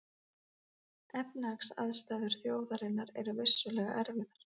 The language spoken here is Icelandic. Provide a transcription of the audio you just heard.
Efnahagsaðstæður þjóðarinnar eru vissulega erfiðar